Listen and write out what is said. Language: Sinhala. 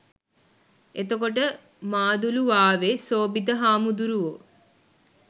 එතකොට මාදුළුවාවේ සෝභිත හාමුදුරුවෝ